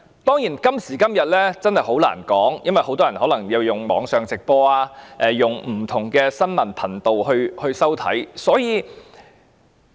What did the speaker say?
當然，今時今日真的很難確定，因為很多人可能收看不同新聞頻道或收看網上直播。